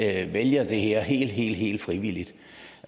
alle vælger det her helt helt frivilligt